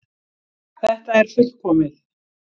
Þetta er fullkomið!